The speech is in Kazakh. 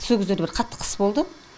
со кездерде бір қатты қыс болды